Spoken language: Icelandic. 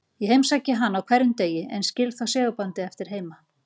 Ég heimsæki hana á hverjum degi, en skil þó segulbandið eftir heima.